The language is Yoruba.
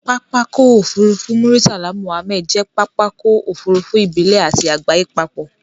Pápákọ̀ òfurufú Muritala Muhammed jẹ́ pápákọ̀ òfurufú ìbílẹ̀ àti àgbáyé papọ̀.